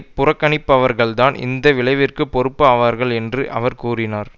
புறக்கணிப்பவர்கள்தான் இந்த விளைவிற்கு பொறுப்பு ஆவார்கள் என்று அவர் கூறினார்